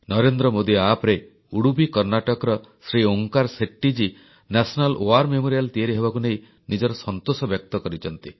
NarendraModiAppରେ ଉଡୁପି କର୍ଣ୍ଣାଟକର ଶ୍ରୀ ଓଁକାର ଶେଟ୍ଟିଜୀ ରାଷ୍ଟ୍ରୀୟ ଯୁଦ୍ଧ ସ୍ମାରକୀ ତିଆରି ହେବାକୁ ନେଇ ନିଜର ସନ୍ତୋଷ ବ୍ୟକ୍ତ କରିଛନ୍ତି